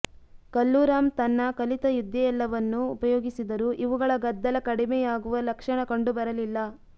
ಕಲ್ಲೂರಾಮ್ ತನ್ನ ಕಲಿತ ವಿದ್ಯೆಯೆಲ್ಲವನ್ನು ಉಪಯೋಗಿಸಿದರೂ ಇವುಗಳ ಗದ್ದಲ ಕಡಿಮೆಯಾಗುವ ಲಕ್ಷಣ ಕಂಡು ಬರಲಿಲ್ಲ